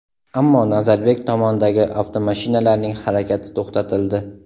Ammo Nazarbek tomondagi avtomashinalarning harakati to‘xtatildi.